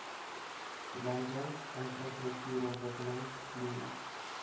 landbou infrastruktuurontwikkeling plio